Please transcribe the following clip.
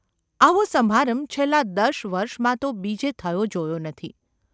‘આવો સમારંભ છેલ્લાં દશ વર્ષમાં તો બીજે થયો જોયો નથી.